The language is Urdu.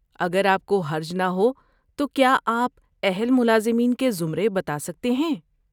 اگر آپ کو حرج نہ ہو تو کیا آپ اہل ملازمین کے زمرے بتا سکتے ہیں؟